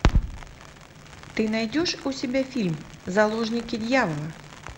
ты найдешь у себя фильм заложники дьявола